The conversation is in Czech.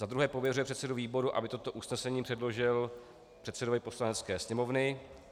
Za druhé pověřuje předsedu výboru, aby toto usnesení předložil předsedovi Poslanecké sněmovny.